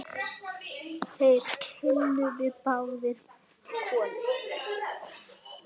Þeir kinkuðu báðir kolli.